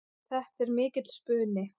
Þetta er mikill spuni.